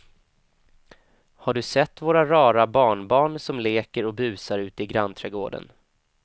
Har du sett våra rara barnbarn som leker och busar ute i grannträdgården!